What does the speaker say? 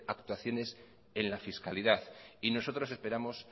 actuaciones en la fiscalidad y nosotros esperamos